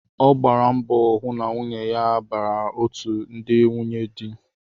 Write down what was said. Ọ gbara mbọ hụ na nwunye ya bara otú ndị nwunye dị